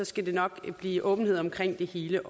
skal der nok blive åbenhed omkring det hele